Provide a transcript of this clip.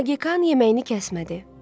Magikan yeməyini kəsmədi.